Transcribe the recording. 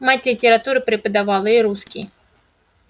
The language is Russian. мать литературу преподавала и русский